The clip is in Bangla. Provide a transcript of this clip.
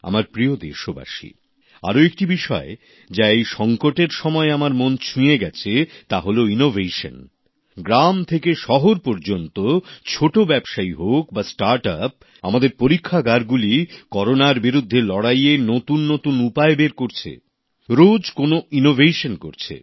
আমার প্রিয় দেশবাসী আর একটি বিষয় যা এই সংকটের সময়ে আমার মন ছুঁয়ে গেছে তা হল উদ্ভাবন গ্রাম থেকে শহর পর্যন্ত ছোটো ব্যবসায়ী হোক বা নতুন উদ্যোগ౼স্টার্ট আপ আমাদের পরীক্ষাগারগুলি করোনার বিরুদ্ধে লড়াই এ নতুন নতুন উপায় বের করছে রোজ কোনো না কোন কিছু উদ্ভাবন করছে